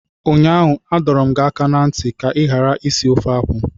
Ụnyaahụ adọ m gị aka na ntị ka ị ghara isi ofe akwụ!